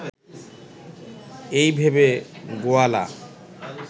এই ভেবে গোয়ালা